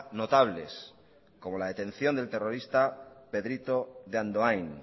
notables como la detención del terrorista pedrito de andoain